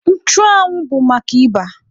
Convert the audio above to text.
Nchụanwụ bụ maka ịba.